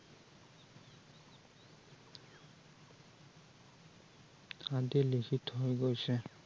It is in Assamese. আদি লিখি থৈ গৈছে ।